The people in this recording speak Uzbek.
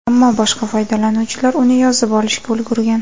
Ammo boshqa foydalanuvchilar uni yozib olishga ulgurgan.